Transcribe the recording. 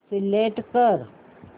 select कर